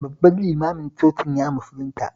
Babban limanin cocin ya musulunta